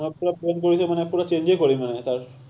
কৰিলেই মানে পোৰা change য়েই কৰিম মানে তাৰ।